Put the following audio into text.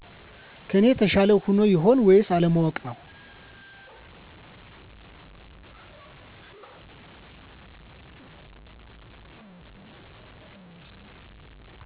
ከኔ የተሻለ ሆኖ ይሆን ወይንስ አለማወቅ ነው